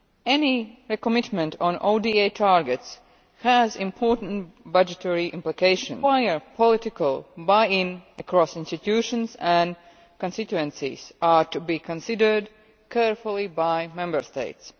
Any recommitment on ODA targets has important budgetary implications that require political buy in across institutions, and constituencies are to be considered carefully by Member States.